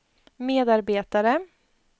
medarbetare